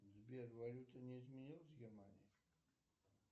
сбер валюта не изменилась в германии